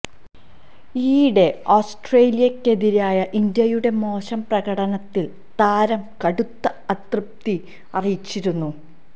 ഇയിടെ ഓസ്ട്രേലിയക്കെതിരായ ഇന്ത്യയുടെ മോശം പ്രകടനത്തില് താരം കടുത്ത അതൃപ്തി അറിയിച്ചിരുന്നു